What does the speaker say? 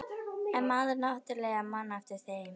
En maður náttúrlega man eftir þeim.